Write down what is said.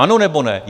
Ano nebo ne?